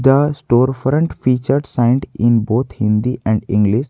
The store front features and in both hindI and english.